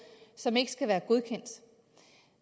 som ikke skal være godkendt